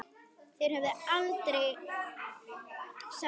En þeir höfðu aldrei samband